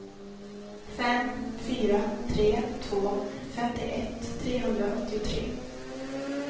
fem fyra tre två femtioett trehundraåttiotre